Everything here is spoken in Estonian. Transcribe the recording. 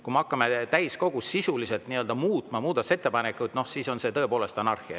Kui me hakkame täiskogus muudatusettepanekuid sisuliselt muutma, siis on see tõepoolest anarhia.